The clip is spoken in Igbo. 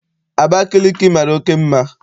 Abakaliki mara oké mma.